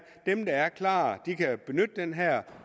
at dem der er klar kan benytte den her